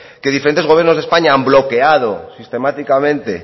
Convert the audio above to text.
que diferentes gobiernos de españa han bloqueado sistemáticamente